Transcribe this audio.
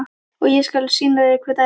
Og ég skal sýna þér hver ræður.